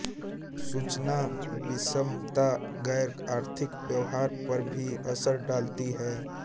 सूचना विषमता गैरआर्थिक व्यवहार पर भी असर डालती है